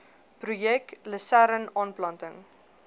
projek lusern aanplanting